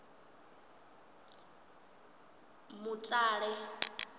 mutale